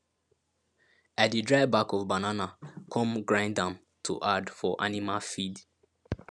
i de dry back of banana come grind am to add for animal feed